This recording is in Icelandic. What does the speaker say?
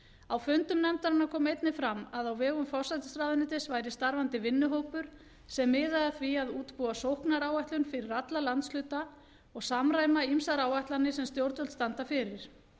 á fundum nefndarinnar kom einnig fram að á vegum forsætisráðuneytis væri starfandi vinnuhópur sem miðaði að því að útbúa sóknaráætlun fyrir alla landshluta og samræma ýmsar áætlanir sem stjórnvöld standa fyrir